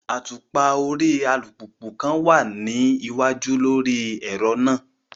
Atupa ori alupupu kan wa ni iwaju lori ẹrọ naa